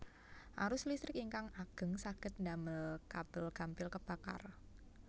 Arus listrik ingkang ageng saged damel kabel gampil kebakar